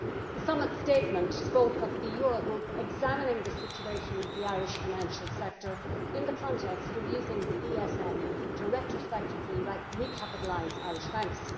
The Summit statement spoke of the Euro Group examining the situation of the Irish financial sector in the context of using the ESM to retrospectively recapitalise Irish banks.